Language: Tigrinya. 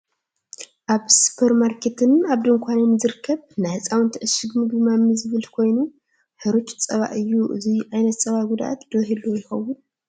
ኣብ ስፖርማርኬትን ኣብ ድኳንን ዝርከቡ ናይ ህፃውቲ ዕሽግ ምግቢ ማሚ ዝብል ኮይኑ ሕሩፅ ፀባ እዩ። እዚ ዓይነት ፀባ ጉድኣት ዶ ይህልዎ ይከውን?